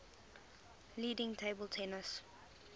leading table tennis